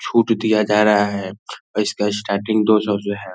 छुट दिया जा रहा है और इसका स्टार्टिंग दो सौ से है।